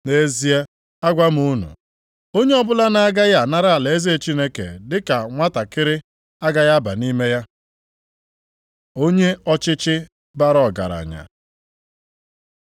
Nʼezie, agwa m unu, onye ọbụla na-agaghị anara alaeze Chineke dị ka nwantakịrị agaghị aba nʼime ya.” Onye ọchịchị bara ọgaranya